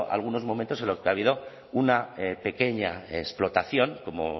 algunos momentos en los que ha habido una pequeña explotación como